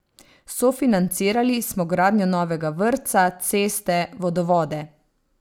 Sofinancirali smo gradnjo novega vrtca, ceste, vodovode ...